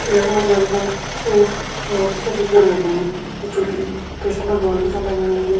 यख मजी हम सण एक मूर्ति छ दिखेण लगीं जु की कृष्ण भगवान की छ लगण लगीं।